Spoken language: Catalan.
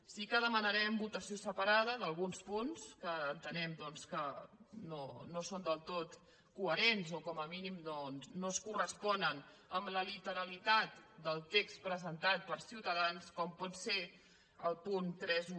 sí que demanarem votació separada d’alguns punts que entenem que no són del tot coherents o com a mínim no es corresponen amb la literalitat del text presentat per ciutadans com pot ser el punt trenta un